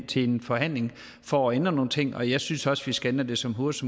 til en forhandling for at ændre nogle ting og jeg synes også vi skal ændre det så hurtigt